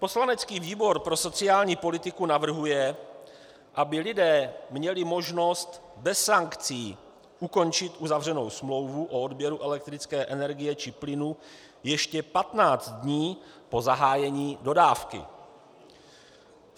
Poslanecký výbor pro sociální politiku navrhuje, aby lidé měli možnost bez sankcí ukončit uzavřenou smlouvu o odběru elektrické energie či plynu ještě 15 dní po zahájení dodávky.